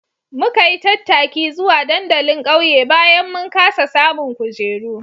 Muka yi tattaki zuwa dandalin ƙauye bayan mun kasa samun kujeru